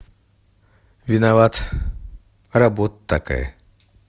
виноват работа такая